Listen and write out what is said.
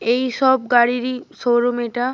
এইসব গাড়িরই শোরুম এটা।